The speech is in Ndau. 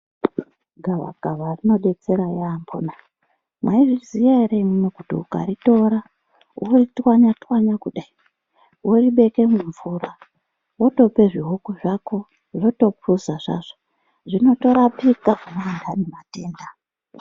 Gavakava rinobetsera yaambona maizviziya ere, imwimwi kuti ukaritora voritwanya-twanya kudai. Voribeke mumvura votope zvihuku zvako zvotopuza zvazvo zvinotorapika pamundani matenda.